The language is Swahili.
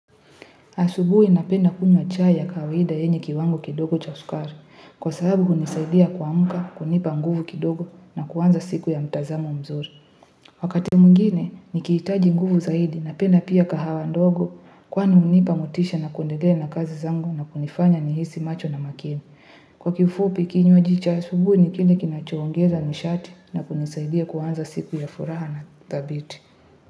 Asubuhi napenda kunywa chai ya kawaida yenye kiwango kidogo cha sukari, kwa sababu hunisaidia kuamka, kunipa nguvu kidogo na kuanza siku ya mtazamo mzuri. Wakati mwingine, nikihitaji nguvu zaidi napenda pia kahawa ndogo kwani hunipa motisha na kuendelea na kazi zangu na kunifanya nihisi macho na makini. Kwa kifupi kinywaji cha asubuhi ni kile kinachoongeza nishati na kunisaidia kuanza siku ya furaha na thabiti.